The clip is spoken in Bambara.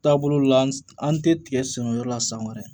Taabolo la an tɛ tigɛ sɛnɛyɔrɔ la san wɛrɛ